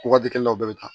Waati kelen na u bɛɛ bɛ taa